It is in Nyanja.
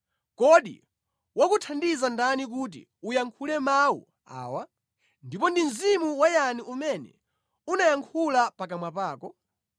Kodi wakuthandiza ndani kuti uyankhule mawu awa? Ndipo ndi mzimu wa yani umene unayankhula pakamwa pako?